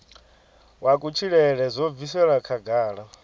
wa kutshilele zwo bviselwa khagala